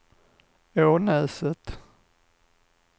Ånäset